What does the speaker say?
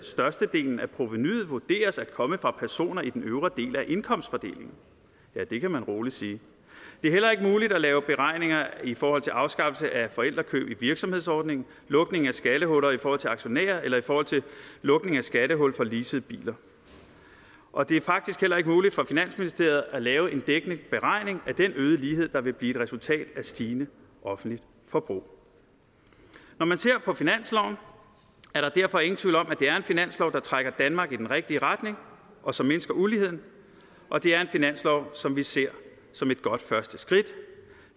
størstedelen af provenuet vurderes at komme fra personer i den øvre del af indkomstfordelingen ja det kan man rolig sige det er ikke muligt at lave beregninger i forhold til afskaffelse af forældrekøb i virksomhedsordningen lukningen af skattehuller i forhold til aktionærer eller i forhold til lukningen af skattehul for leasede biler og det er faktisk heller ikke muligt for finansministeriet at lave en dækkende beregning af den øgede lighed der vil blive et resultat af et stigende offentligt forbrug når man ser på finansloven er der derfor ingen tvivl om at det er en finanslov der trækker danmark i den rigtige retning og som mindsker uligheden og det er en finanslov som vi ser som et godt første skridt